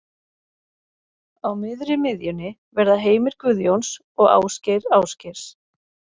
Á miðri miðjunni verða Heimir Guðjóns og Ásgeir Ásgeirs.